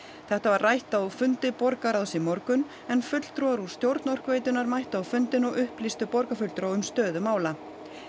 þetta var rætt á fundi borgarráðs í morgun en fulltrúar úr stjórn Orkuveitunnar mættu á fundinn og upplýstu borgarfulltrúa um stöðu mála